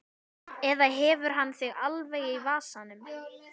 Eða hefur hann þig alveg í vasanum?